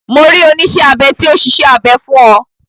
Mo rí oníṣẹ́ abẹ tí ó ṣiṣẹ́ abẹ fún ọ.